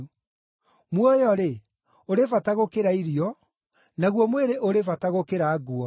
Muoyo-rĩ, ũrĩ bata gũkĩra irio, naguo mwĩrĩ ũrĩ bata gũkĩra nguo.